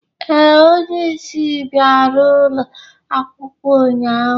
Ee, onye isi bịara ụlọ akwụkwọ ụnyahụ.